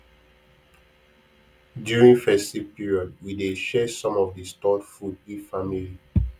during festive period we dey share some of the stored food give family